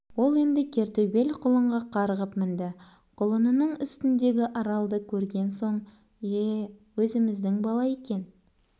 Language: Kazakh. ол енді кер төбел құлынға қарғып мінді құлынының үстіндегі аралды көрген соң е-е өзіміздің бала екен